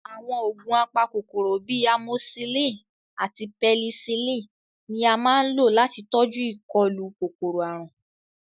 Àwọn oògùn apakòkòrò bíi amosílìn àti pẹnisílìn ni a máa ń lò láti tọjú ìkọlù kòkòrò-àrùn